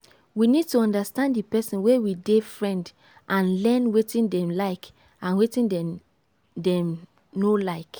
we need to understand di person wey we dey friend and learn wetin dem like and wetin dem dem no like